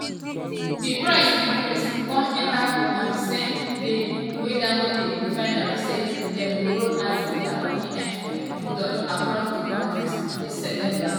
di price increase come enta on di same day wey dangote refinery say dem go roll out dia pms product across di kontri dis september.